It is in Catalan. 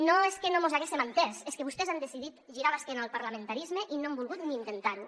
no és que no mos haguéssem entès és que vostès han decidit girar l’esquena al parlamentarisme i no han volgut ni intentar ho